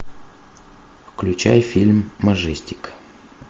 включай фильм маджестик